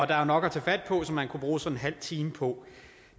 er jo nok at tage fat på som man kunne bruge sådan en halv time på